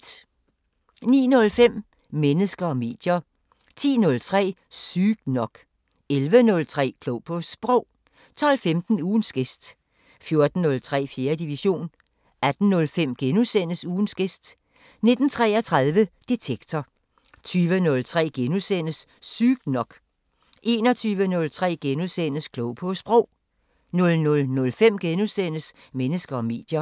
09:05: Mennesker og medier 10:03: Sygt nok 11:03: Klog på Sprog 12:15: Ugens gæst 14:03: 4. division 18:05: Ugens gæst * 19:33: Detektor 20:03: Sygt nok * 21:03: Klog på Sprog * 00:05: Mennesker og medier *